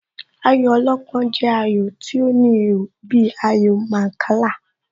Ayò alọ́pọ́n jẹ́ ayò tí ó ní ihò bíi ayò Mancala.